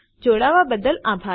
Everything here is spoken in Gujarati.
જોડાવા બદ્દલ આભાર